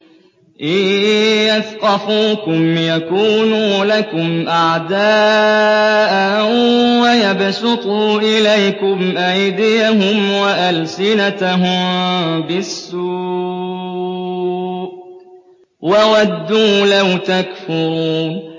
إِن يَثْقَفُوكُمْ يَكُونُوا لَكُمْ أَعْدَاءً وَيَبْسُطُوا إِلَيْكُمْ أَيْدِيَهُمْ وَأَلْسِنَتَهُم بِالسُّوءِ وَوَدُّوا لَوْ تَكْفُرُونَ